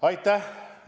Aitäh!